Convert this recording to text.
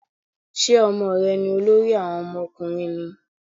Ṣé Ọmọ rẹ ni olórí àwọn ọmọ ọkùnrin ni?